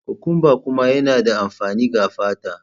Cucumber kuma yana da amfani ga fata.